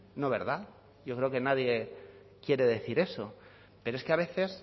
no verdad yo creo que nadie quiere decir eso pero es que a veces